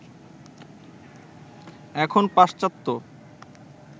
এখন পাশ্চাত্যে